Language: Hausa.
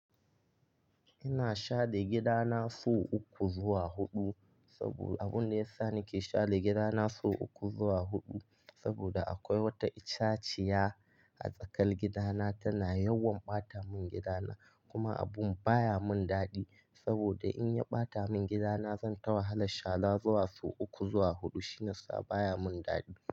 Ina share gidana sau uku zuwa huɗu. Sabo abun da ya sa nake share gidana sau uku zuwa huɗu saboda akwai wata itaciya a tsakar gidana tana yawan ɓata mun gidana. Kuma abun baya mun daɗi saboda in ya ɓata mun gidana zan ta wahalar shara zuwa sau uku zuwa huɗu shine sa baya mun daɗi.